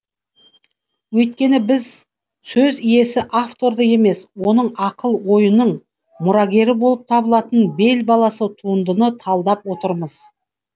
өйткені біз сөз иесі авторды емес оның ақыл ойының мұрагері болып табылатын бел баласы туындыны талдап отырмыз